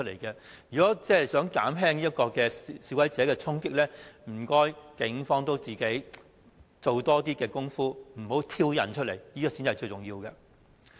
如果想減少示威者衝擊的行為，請警方也多做工夫，不要挑釁他們，這才是最重要的。